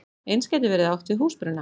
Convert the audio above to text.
Eins gæti verið átt við húsbruna.